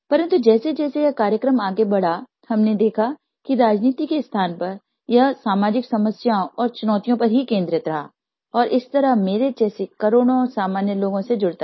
परन्तु जैसेजैसे ये कार्यक्रम आगे बढ़ा हमने देखा कि राजनीति के स्थान पर यह सामाजिक समस्याओं और चुनौतियों पर ही केन्द्रित रहा और इस तरह मेरे जैसे करोड़ों सामान्य लोगों से जुड़ता गया